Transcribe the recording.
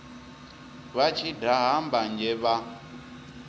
vha tshi daha mbanzhe vha